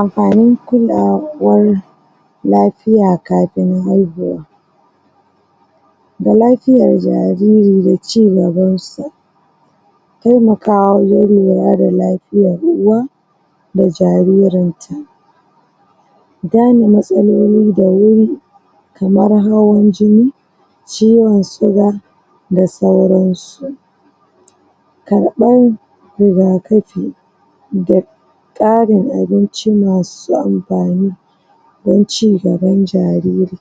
Amfani kulawa, wannan lafiya kafin haihuwa da lafiyar jariri da ci gabansa temakawa wajan lura da la fiyan uwa da jaririn ta gane matsalolin da wuri kamar hawan jini ciwon suga da sauransu karɓan riga kafi da ƙarin abinci masu amfani dan ci gaban jariri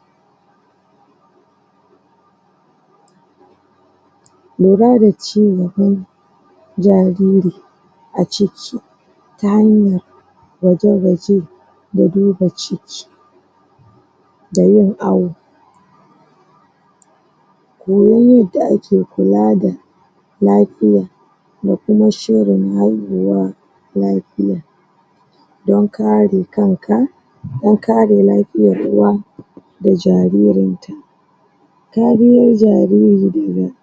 lura da ci gaban jariri aciki ta hanya gwaje gwaje da duba ciki da yin awo koyon yadda ake kula da lafiya da kuma shirin haihuwa lafiya don kare kanka don kare lafiyan uwa da jaririn ta tariyan jariri dena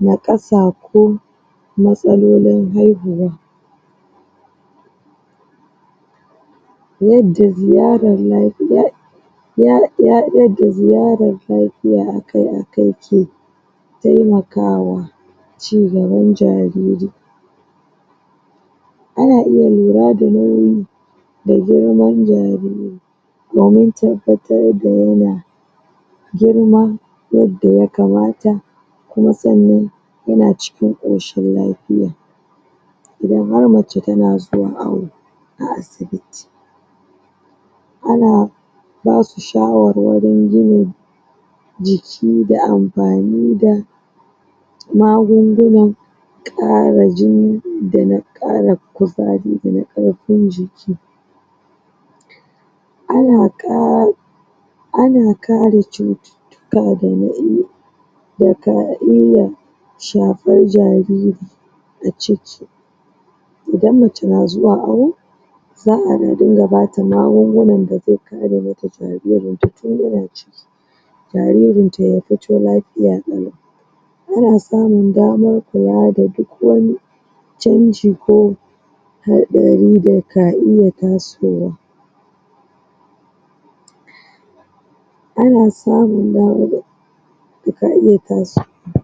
naƙasa ko matsalolin haihuwa yadda ziyarar lafiya ya, yadda ziyarar lafiya akai akai ki temakawa ci gaban jariri ana iya lura da nauyi da girman jariri domin tabbatar da yana girma yadda yakamata kuma sannan yana cikin koshin lafiya idan har mace tana zuwa awo a asibiti ana basu shawarwarin gina jiki da amfani da magunguna ƙara jini da na ƙara kuzari da na ƙarfin jiki ana ƙa ana ƙara cu wuka da na da ka illa shafar jariri a ciki idan mace na zuwa awo za ana dunga bata magungunan da zai kare mata jaririnta tin yana ciki jaririn ta yafitolafiya ƙalau ana samun daman kula da duk wani canji ko haɗari da ka iya tasowa ana samun dama da da ka iya kasu